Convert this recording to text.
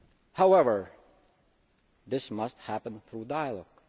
However, this must happen through dialogue.